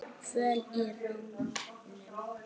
Kvöl í rómnum.